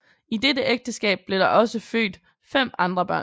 I dette ægteskab blev der også født fem andre børn